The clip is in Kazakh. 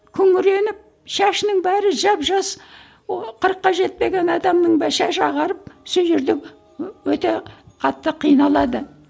күңіреніп шашының бәрі жап жас о қырыққа жетпеген адамның да шашы ағарып сол жерде өте қатты қиналады